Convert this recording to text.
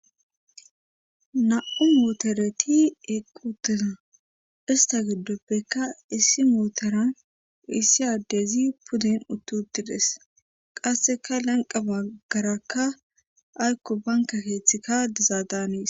na7u muotoreti equtina ista giddoppekka issi mooteran issi aaddezi pudden uttutides qasseka lanqa baggarakka aykko banka keeththikka dizaa daanis